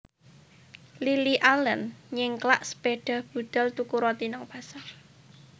Lily Allen nyengklak sepeda budal tuku roti nang pasar